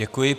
Děkuji.